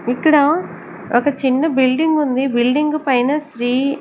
ఇక్కడ ఒక చిన్న బిల్డింగ్ ఉంది బిల్డింగ్ పైన శ్రీ--